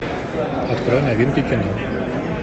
открой новинки кино